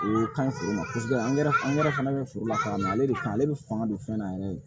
O ka ɲi foro ma kosɛbɛ an yɛrɛ fana bɛ forola ka na ale de kan ale bɛ fanga don fɛn na yɛrɛ de